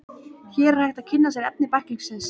Hér er hægt að kynna sér efni bæklingsins.